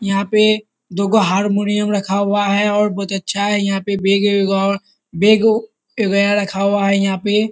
यहाँ पे दुगो हारमोनियम रखा हुआ है और बहुत अच्छा है यहाँ पे बैग बेगू बैग रखा हुआ है यहाँ पे।